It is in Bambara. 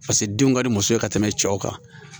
Paseke denw ka di muso ye ka tɛmɛ cɛw kan